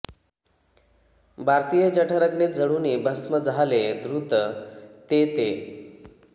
भारतीय जठरग्नीत जळुनी भस्म जाहले द्रुत ते ते